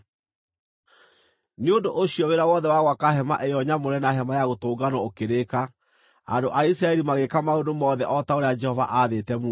Nĩ ũndũ ũcio wĩra wothe wa gwaka hema ĩyo nyamũre na Hema-ya-Gũtũnganwo ũkĩrĩka. Andũ a Isiraeli magĩĩka maũndũ mothe o ta ũrĩa Jehova aathĩte Musa.